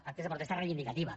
actes de protesta reivindicativa